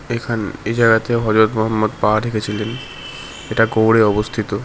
এখানে এ জায়গাতে হযরত মহাম্মদ পা রেখেছিলেন এটা গৌড়ে অবস্থিত।